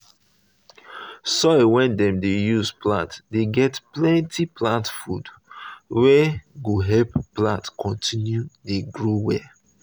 soil wey dem dey use um plant dey get plenty um plant food wey go help um plant continue dey grow well.